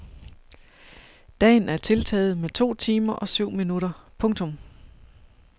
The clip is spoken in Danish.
Dagen er tiltaget med to timer og syv minutter. punktum